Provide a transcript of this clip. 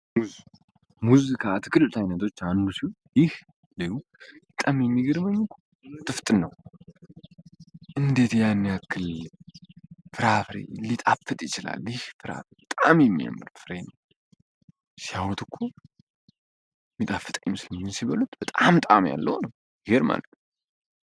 ሙዚካ አትክልት አይነቶች አንዱ ሲው ይህ ሌዩ ጣም የሚግርበኙ ትፍጥ ነው እንዴት ያነክል ፍራሬ ሊጣፍጥ ይችላል ይህ ራ በጣም የሚምር ፍሬን ሲያዎትኮ ሚጣፍጣ ይምስልኙን ሲበሉት በጣም ጣም ያለሆ ነው፡፡